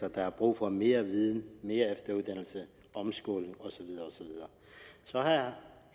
at der er brug for mere viden mere efteruddannelse omskoling og så videre så har